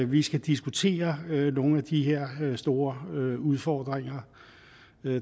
vi skal diskutere nogle af de her store udfordringer